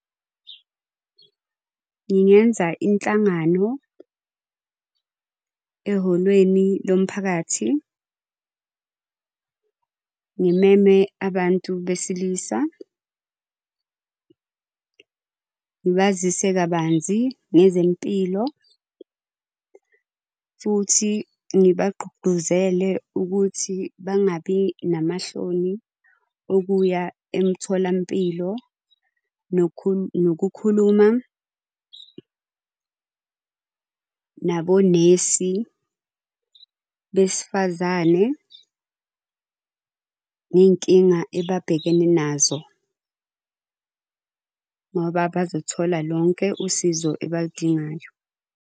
Ngingenza inhlangano ehholweni lomphakathi, ngimeme abantu besilisa. Ngibazise kabanzi ngezempilo, futhi ngibagqugquzele ukuthi bangabi namahloni okuya emtholampilo nokukhuluma nabonesi besifazane ngey'nkinga ababhekene nazo, ngoba bazothola lonke usizo abaludingayo.